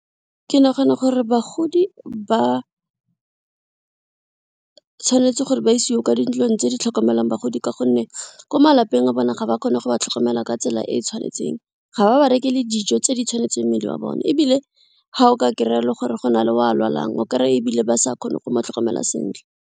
Ke nagana gore bagodi ba, tshwanetse gore ba isiwe kwa dintlong tse di tlhokomelang bagodi ka gonne ko malapeng a bone ga ba kgone go ba tlhokomela ka tsela e e tshwanetseng, ga ba ba reke le dijo tse di tshwanetseng mmele wa bone ebile ga o ka kry-a le gore go na le o a lwalang o kry-a ebile ba sa kgone go mo tlhokomela sentle.